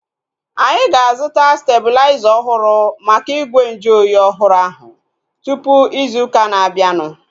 Anyị ga-azuta stebulaiza ọhụrụ maka igwe nju oyi ọhụrụ ahu tupu ịzụ ụka na-abianu